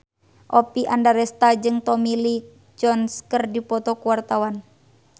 Oppie Andaresta jeung Tommy Lee Jones keur dipoto ku wartawan